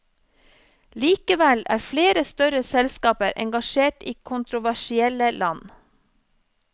Likevel er flere større selskaper engasjert i kontroversielle land.